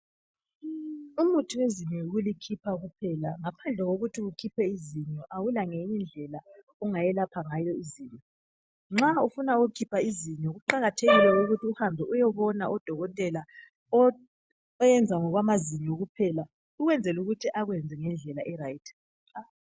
Umuthi wezinyo yikulikhipha kuphela ngaphandle kokuthi ukhiphe izinyo awulangenyindlela ongayelapha ngalo izinyo. Nxa ufuna ukukhipha izinyo kuqakathekile ukuthi uhambe uyebona udokotela oyenza ngokwamazinyo kuphela ukwenzela ukuthi akwenze ngendlela erayiti.